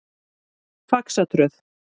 Faxatröð